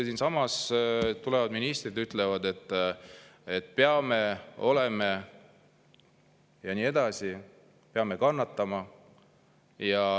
Siinsamas tulevad ministrid, ütlevad, et peame, oleme ja nii edasi, peame kannatama.